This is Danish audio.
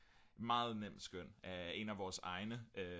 meget nemt skøn af en af vores egne